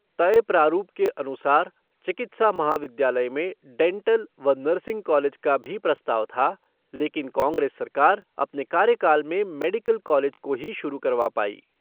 तय प्रारूप के अनुसार चिकित्सा महाविद्यालय में डैंटल व नर्सिंग कॉलेज का भी प्रस्ताव था लेकिन कांग्रेस सरकार अपने कार्यकाल में मैडीकल कॉलेज को ही शुरू करवा पाई।